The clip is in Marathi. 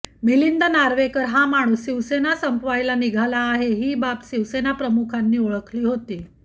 मिलिंद नार्वेकर हा माणूस शिवसेना संपवायला निघाला आहे ही बाब शिवसेनाप्रमुखांनी ओळखली होती